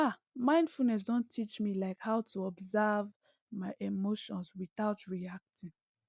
ah mindfulness don teach me like how to observe my emotions without reacting